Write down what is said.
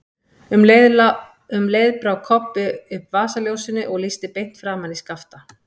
Um leið brá Kobbi upp vasaljósinu og lýsti beint framan í Skapta.